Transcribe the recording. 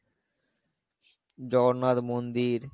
জগন্নাথ মন্দির,